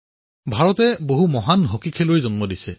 ভাৰতে হকীৰ কেইবাজনো মহান খেলুৱৈৰ জন্ম দিছে